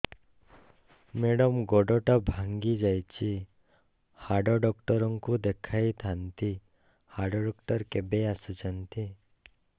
madam ଗୋଡ ଟା ଭାଙ୍ଗି ଯାଇଛି ହାଡ ଡକ୍ଟର ଙ୍କୁ ଦେଖାଇ ଥାଆନ୍ତି ହାଡ ଡକ୍ଟର କେବେ ଆସୁଛନ୍ତି